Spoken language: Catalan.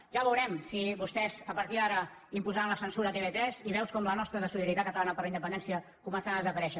ja veurem si vostès a partir d’ara imposaran la censura a tv3 i veus com la nostra de solidaritat catalana per la independència començaran a desaparèixer